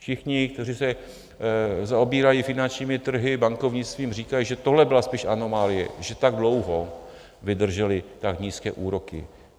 Všichni, kteří se zaobírají finančními trhy, bankovnictvím, říkají, že tohle byla spíš anomálie, že tak dlouho vydržely tak nízké úroky.